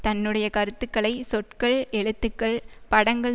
தன்னுடைய கருத்துக்களை சொற்கள் எழுத்துக்கள் படங்கள்